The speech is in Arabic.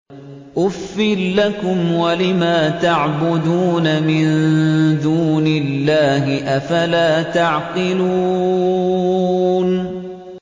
أُفٍّ لَّكُمْ وَلِمَا تَعْبُدُونَ مِن دُونِ اللَّهِ ۖ أَفَلَا تَعْقِلُونَ